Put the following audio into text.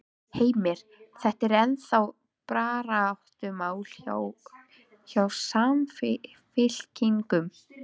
Heimir: Þetta er ennþá baráttumál hjá, hjá Samfylkingunni?